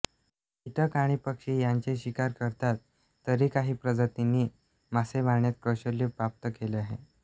कीटक आणि पक्षी यांची शिकार करतात तरी काही प्रजातीनी मासे मारण्यात कौशल्य प्राप्त केले आहे